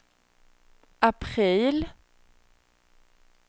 april